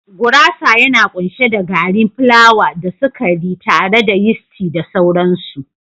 Gurasa yana kunshe da gari plawa da sukari tare da yisti da sauransu.